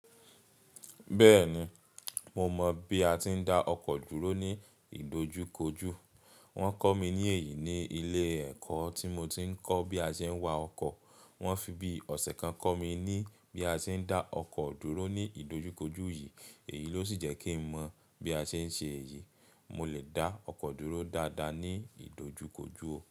Bẹ́ẹ̀ni, mo mọ bí a ti ń dá ọkọ̀ dúró ní ìdojúkojú. Wọ́n kọ́ mi ní èyí ní ilé ẹ̀kọ́ tí mo ti ń kọ́ bí a ṣe ń wa ọkọ̀. Wọ́n fi bíi ọ̀sẹ̀ kan kọ́ mi ní bí a ṣe ń dá ọkọ̀ dúró ní ìdojúkojú yìí. Èyí ló sì jẹ́ kí n mọ̀ bí a ṣe ń ṣe èyí. Mo lè dá ọkọ̀ dúró dáadáa ní ìdojúkojú o.